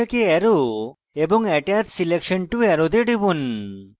arrow এবং attach selection to arrow তে টিপুন